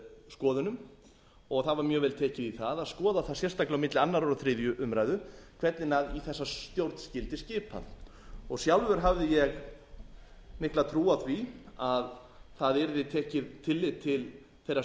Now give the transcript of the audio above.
skoðunum og það var mjög vel tekið í það að skoða það sérstaklega á milli annars og þriðju umræðu hvernig í þessa stjórn skyldi skipað sjálfur hafði ég mikla trú á því að það yrði tekið tillit til þeirra